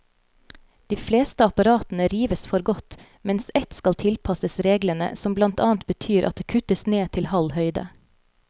De fleste apparatene rives for godt, mens ett skal tilpasses reglene, som blant annet betyr at det kuttes ned til halv høyde.